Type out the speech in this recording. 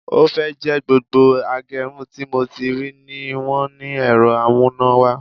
Ó fẹ́ẹ̀ jẹ́ gbogbo agẹrun tí mo ti rí rí ni wọ́n ní ẹ̀rọ amúnáwá